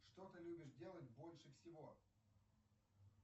что ты любишь делать больше всего